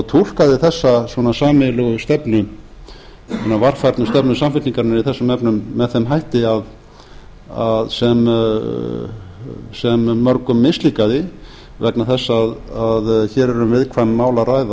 túlkaði þessa sameiginlegu stefnu hina varfærnislegu stefnu samfylkingarinnar í þessum efnum með þeim hætti sem mörgum mislíkaði vegna þess að hér er um viðkvæm mál að